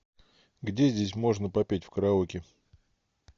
где здесь можно попеть в караоке